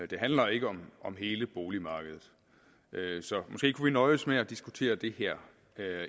det handler ikke om hele boligmarkedet så måske kunne vi nøjes med at diskutere det her